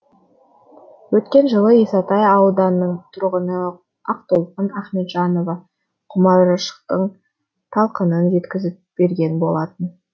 өткен жылы исатай ауданының тұрғыны ақтолқын ахметжанова құмаршықтың талқанын жеткізіп берген болатын